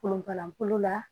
Kolonkalankolon la